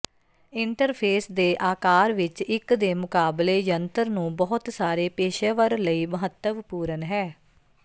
interface ਦੇ ਆਕਾਰ ਵਿੱਚ ਇੱਕ ਦੇ ਮੁਕਾਬਲੇ ਜੰਤਰ ਨੂੰ ਬਹੁਤ ਸਾਰੇ ਪੇਸ਼ੇਵਰ ਲਈ ਮਹੱਤਵਪੂਰਨ ਹੈ